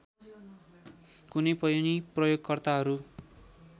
कुनै पनि प्रयोगकर्ताहरू